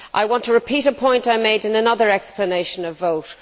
I want to repeat a point I made in another explanation of vote.